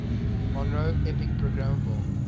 monroe epic programmable